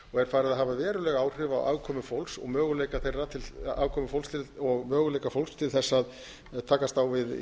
er farið að hafa veruleg áhrif á afkomu fólks og möguleika fólks til þess að takast á við